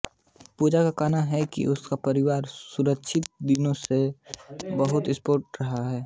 पूजा का कहना है कि उसका परिवार शुरूआती दिनों से ही बहुत सपोर्टिव रहा है